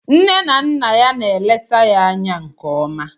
Nne na Nna ya na-eleta ya anya nke ọma